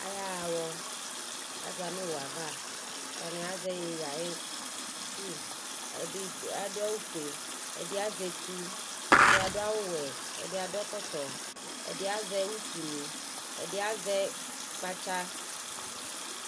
Ayaɣa awɔ Aza nʋ owu ava Atani azɛ iyeye ayi tsu Ɛdi adʋ awʋ fue, ɛdi azɛ etu, ɛdi adʋ awʋ wɛ, ɛdi adʋ ɛkɔtɔ, ɛdi azɛ utu ni, ɛdi azɛ kpatsa